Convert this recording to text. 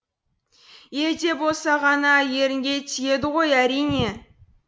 елде болса ғана ерінге тиеді ғой әрине